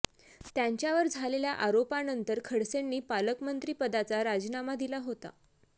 त्यांच्यावर झालेल्या आरोपानंतर खडसेंनी पालकमंत्री पदाचा राजीनामा दिला होता